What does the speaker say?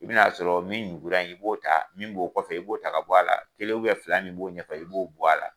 I bɛn'a sɔrɔ min nugu in i b'o ta, min b'o kɔfɛ, i b'o ta ka bɔ a la, kelen fila min b'o ɲɛfɛ, i b'o bɔ a la.